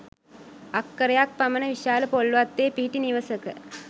අක්‌කරයක්‌ පමණ විශාල පොල් වත්තේ පිහිටි නිවසක